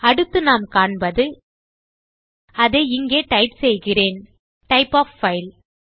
அடுத்து நாம் காண்பது அதை இங்கே டைப் செய்கிறேன் டைப் ஒஃப் பைல்